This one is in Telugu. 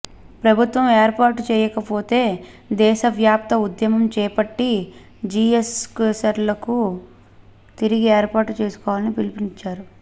ప్రభుత్వం ఏర్పాటు చేయకపోతే దేశ వ్యాప్త ఉద్యమం చేపట్టి జిఎస్క్యాస్లను తిరిగి ఏర్పాటు చేసుకోవాలని పిలుపిచ్చారు